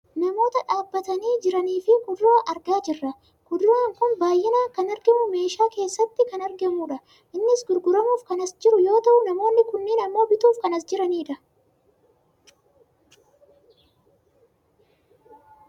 Namoota dhaabbataanii jiranii fi kuduraa argaa jirra. Kuduraan kun baayyinaan kan argamuufi meeshaa keessatti kan argamudha. Innis gurguramuuf kan as jiru yoo ta'u namoonni kunniin ammoo bituuf kan as jiranidha.